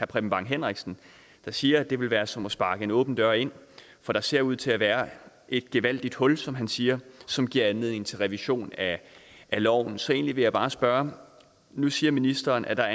preben bang henriksen der siger at det vil være som at sparke en åben dør ind for der ser ud til at være et gevaldigt hul som han siger som giver anledning til revision af loven så egentlig vil jeg bare spørge nu siger ministeren at der